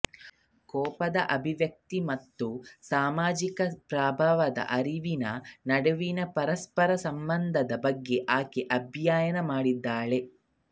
ಕೋಪದ ಅಭಿವ್ಯಕ್ತಿ ಮತ್ತು ಸಾಮಾಜಿಕ ಪ್ರಭಾವದ ಅರಿವಿನ ನಡುವಿನ ಪರಸ್ಪರ ಸಂಬಂಧದ ಬಗ್ಗೆ ಆಕೆ ಅಧ್ಯಯನ ಮಾಡಿದ್ದಾಳೆ